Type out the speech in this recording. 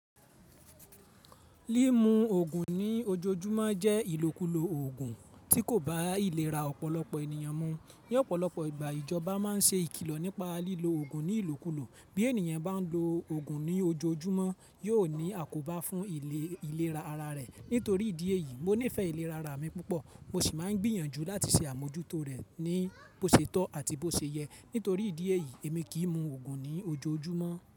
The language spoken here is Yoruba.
Lí mu òògùn ní ojoojúmọ́ jẹ́ ìlòkulò òògùn tí kò bá ìlera ọ̀pọ̀lọpọ̀ ènìyàn mu. Ni ọ̀pọ̀lọpọ̀ ìgbà ìjọba máa ń ṣe ìkìlọ̀ nípa lílo òògùn ní ìlòkulò. Bí ènìyàn bá ń lo òògùn ní ojoojúmọ́ yóò ní àkóbá fún ìlera ara rẹ̀. Nítorí ìdí èyí, mo nífẹ̀ẹ́ ìlera ara mi púpọ̀ mo sì máa ń gbìyànjú láti ṣe àmójútó rẹ̀ ní bó ṣe tọ́ àti bó ṣe yẹ. Nítorí ìdí èyí èmi kì í mu òògùn ní ojoojúmọ́.